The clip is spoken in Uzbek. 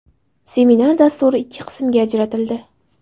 Seminar dasturi ikki qismga ajratildi.